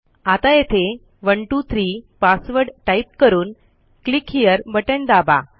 आता येथे 123 password type करून क्लिक हेरे बटण दाबा